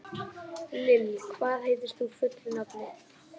Lill, hvað heitir þú fullu nafni?